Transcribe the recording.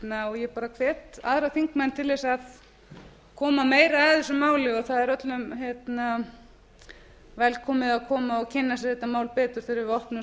bölmóðnum og ég bara hvet aðra þingmenn til þess að koma meira að þessu máli og það er öllum velkomið að koma og kynna sér þetta mál betur þegar við opnum